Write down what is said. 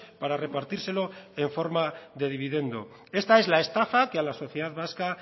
para repartírselo en forma de dividendo esta es la estafa que a la sociedad vasca